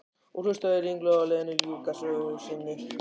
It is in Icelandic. Og hlustaði ringluð á Lenu ljúka sögu sinni.